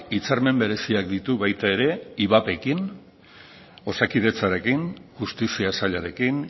hitzarmen bereziak ditu baita ere ivapekin osakidetzarekin justizia sailarekin